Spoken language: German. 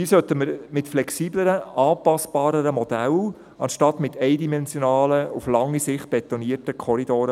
Dabei sollten wir mit flexibleren, anpassbareren Modellen planen anstatt mit eindimensionalen, auf lange Sicht betonierten Korridoren.